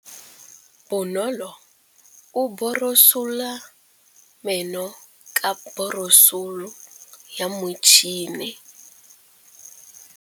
Bonolô o borosola meno ka borosolo ya motšhine.